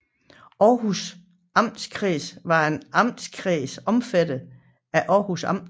Århus Amtskreds var en amtskreds omfattende Århus Amt